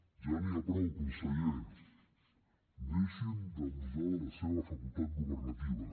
ja n’hi ha prou conseller deixin d’abusar de la seva facultat governativa